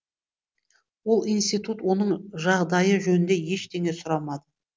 ол институт оның жағдайы жөнінде ештеңе сұрамады